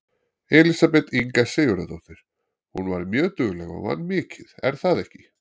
Elísabet Inga Sigurðardóttir: Hún var mjög dugleg og vann mikið er það ekki?